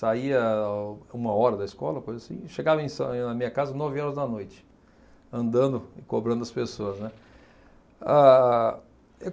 Saía uma hora da escola, coisa assim, e chegava em san em na minha casa, nove horas da noite, andando e cobrando as pessoas, né. Ah